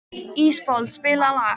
Ísfold, spilaðu lag.